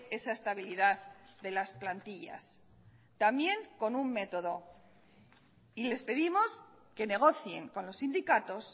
esa estabilidad de las plantillas también con un método y les pedimos que negocien con los sindicatos